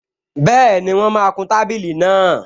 Bẹ́ẹ̀ni, wọ́n máa kun tábìlì náà